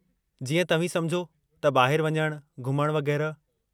जीअं, तव्हीं समुझो त ॿाहिरि वञणु, घुमणु वगै़रह।